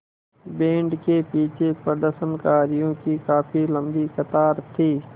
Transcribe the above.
band के पीछे प्रदर्शनकारियों की काफ़ी लम्बी कतार थी